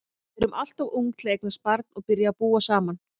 Við erum alltof ung til að eignast barn og byrja að búa saman.